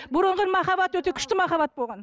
бұрынғы махаббат өте күшті махаббат болған